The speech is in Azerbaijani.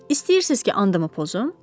İstəyirsiz ki, andımı pozum?